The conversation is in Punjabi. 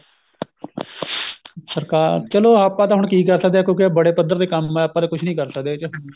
ਸਰਕਾਰ ਚਲੋ ਆਪਾਂ ਤਾਂ ਹੁਣ ਕੀ ਕਰ ਸਕਦੇ ਆ ਕਿਉਂਕਿ ਬੜੇ ਪੱਧਰ ਤੇ ਕੰਮ ਏ ਆਪਾਂ ਤਾਂ ਕੁੱਝ ਨੀ ਕਰ ਸਕਦੇ ਇਹਦੇ ਵਿੱਚ